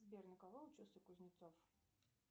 сбер на кого учился кузнецов